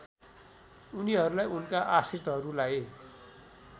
उनीहरूलाई उनका आश्रितहरूलाई